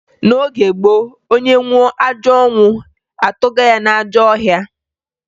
N'oge gboo, onye nwụọ ajọ ọnwụ, atụga ya n'ajọ ọhịa